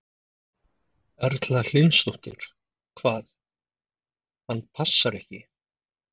Erla Hlynsdóttir: Hvað, hann passar ekki?